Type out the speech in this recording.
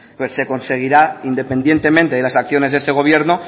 pues se conseguirá independientemente de las acciones de ese gobierno